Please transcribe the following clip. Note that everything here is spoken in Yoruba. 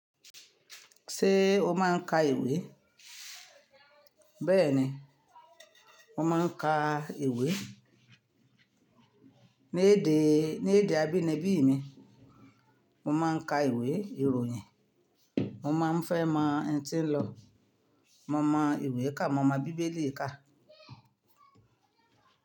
Ṣé o máa ń ka ìwé? Bẹ́ẹ̀ni, mo máa ń ka ìwé. Ní èdè, ní èdè abínibí mi, mo máa ń ka ìwé ìròyìn. Mo máa ń fẹ́ mọ n ti ń lọ. Mo mọ ìwé kà, mo mọ́ bíbélì kà.